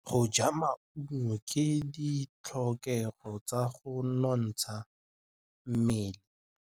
Go ja maungo ke ditlhokegô tsa go nontsha mmele.